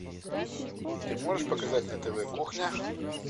ты можешь показать на тв кухня